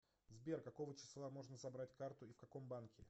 сбер какого числа можно забрать карту и в каком банке